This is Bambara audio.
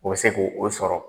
U bɛ se k'o sɔrɔ.